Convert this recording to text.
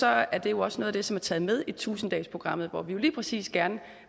er det jo også noget af det som er taget med i tusind dagesprogrammet hvor vi jo lige præcis gerne